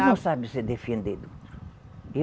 Não sabe se defender do outro.